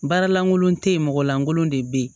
Baara lankolon te yen mɔgɔ lankolon de be yen